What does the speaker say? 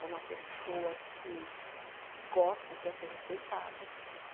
É uma pessoa que gosta, quer ser respeitada.